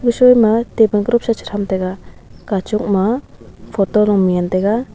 eahoi ma tabon krop chi chichan tega kachup ma photo ley man tega.